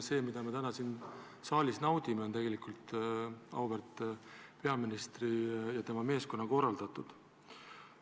See, mida me täna siin saalis naudime, on tegelikult auväärt peaministri ja tema meeskonna korraldatud.